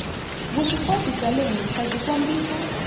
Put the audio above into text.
vuswikoti bya le henhlabyi kombisa